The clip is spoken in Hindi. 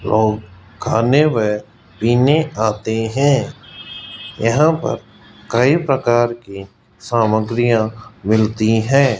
लोग खाने व पीने आते हैं यहां पर कई प्रकार की सामग्रियां मिलती है।